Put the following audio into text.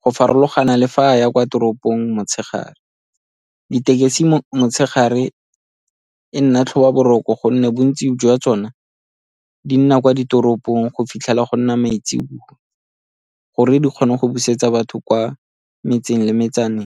go farologana le fa a ya kwa toropong motshegare. Ditekesi motshegare e nna tlhobaboroko gonne bontsi jwa tsone di nna kwa ditoropong go fitlhela go nna maitsebowa gore di kgone go busetsa batho kwa metseng le metsaneng.